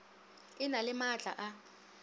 e na le maatla a